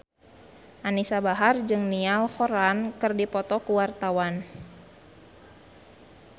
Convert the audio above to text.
Anisa Bahar jeung Niall Horran keur dipoto ku wartawan